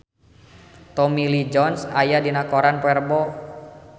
Tommy Lee Jones aya dina koran poe Rebo